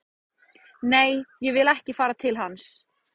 Nei, ég vil ekki fara til hans